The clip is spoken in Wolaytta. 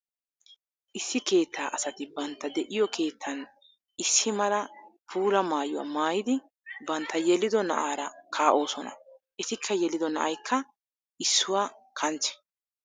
Issi keetta asatti bantta de'iyo keettan issi mala puula maayuwa maayiddi bantta yeliddo na'aara kaa'osonna. Ettikka yelido na'aykka issuwaa kanchche.